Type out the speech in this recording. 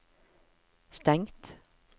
stengt